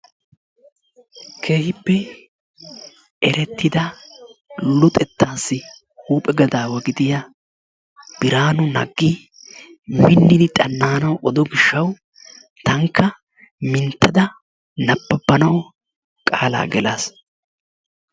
Keehippe erettida luxettaassi huuphe gadaawa gidiya Biraanu Naggi minnidi xana"anawu odo gishshawu tankka minttada nabbabanawu qaalaa gelaas.